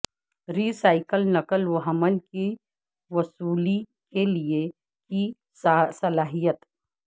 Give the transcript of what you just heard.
ری cycle نقل و حمل کی وصولی کے لئے کی صلاحیت